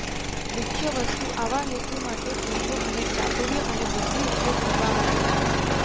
મુખ્ય વસ્તુ આવા હેતુ માટે પૂછો અને ચાતુર્ય અને બુદ્ધિ ઉપયોગ કરવા માટે છે